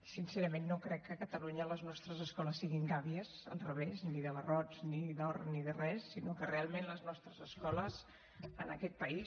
sincerament no crec que a catalunya les nostres escoles siguin gàbies al revés ni de barrots ni d’or ni de res sinó que realment les nostres escoles en aquest país